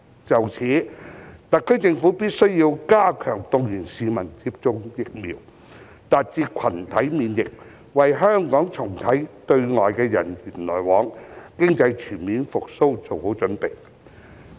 就此，特區政府必須加強動員市民接種疫苗，達至群體免疫，為香港重啟對外的人員往來及經濟全面復蘇作好準備。